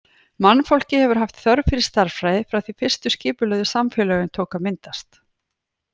Mannfólkið hefur haft þörf fyrir stærðfræði frá því fyrstu skipulögðu samfélögin tóku að myndast.